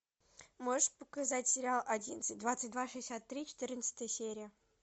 можешь показать сериал одиннадцать двадцать два шестьдесят три четырнадцатая серия